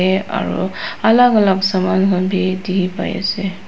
dae aro alak alak saman khan bi diki pai asae.